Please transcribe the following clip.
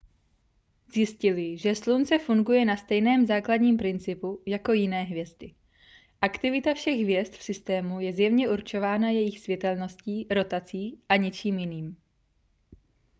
zjistili že slunce funguje na stejném základním principu jako jiné hvězdy aktivita všech hvězd v systému je zjevně určována jejich světelností rotací a ničím jiným